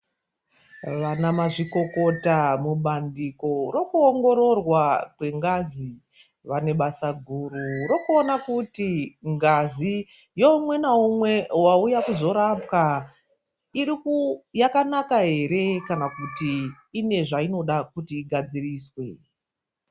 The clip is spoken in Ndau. Vana mazvikokota mubandiko rekuongororwa kwengazi vane basa guru rekuona kuti ngazi yeumwe naumwe wauya kuzorapwa iri kuu yakanaka ere kana kuti ine zvainoda kuti igadziriswe.